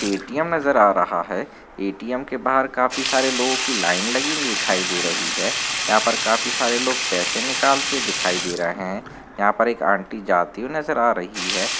ATM नजर आ रहा है एटीएम के बाहर काफ़ी सारे लोगो की लाइन लगी दिखाई दे रही है यहाँ पर काफी सारे लोग पैसे निकालते दिखाई दे रहे है यहाँ पर एक आंटी जाती हुई नजर आ रही हैं।